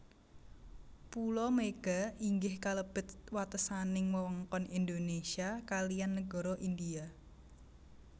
Pulo Mega inggih kalebet watesaning wewengkon Indonésia kaliyan nagara India